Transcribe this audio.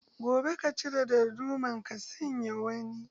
Gobe ka cire darduma ka sanya wani.